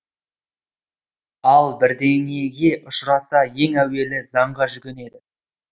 ал бірдеңеге ұшыраса ең әуелі заңға жүгінеді